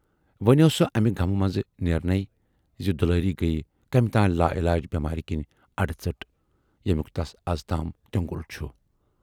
وُنہِ ٲس سۅ امہِ غمہٕ منزٕ نیرنٕے زِ دُلاری گٔیہِ کمہِ تانۍ لاعلاج بٮ۪مارِ کِنۍ اڈٕژٔٹ، ییمیُک تَس ازتام تیۅنگُل چھُ۔